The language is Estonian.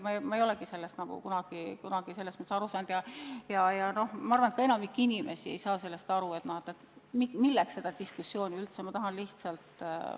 Ma ei ole sellest kunagi aru saanud ja ma arvan, et enamik inimesi ei saa aru, milleks seda diskussiooni üldse vaja on.